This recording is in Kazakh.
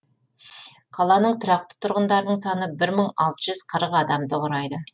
қаланың тұрақты тұрғындарының саны бір мың алты жүз қырық адамды құрайды